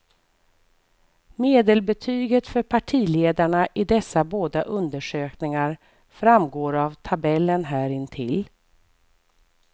Medelbetyget för partiledarna i dessa båda undersökningar framgår av tabellen här intill.